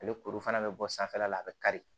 Ale kuru fana bɛ bɔ sanfɛla la a bɛ kari